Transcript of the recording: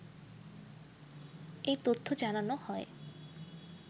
এ তথ্য জানানো হয়।